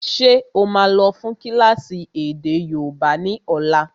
Ṣé ó máa lọ fún kílásì èdè yóòbá ni ọ̀la?